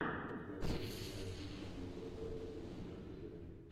у тебя найдется сериал тысяча девятьсот сорок один четвертый сезон